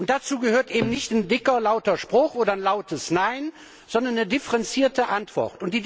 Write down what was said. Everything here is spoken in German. Dazu gehört eben nicht ein dicker, lauter Spruch oder ein lautes Nein, sondern eine differenzierte Antwort.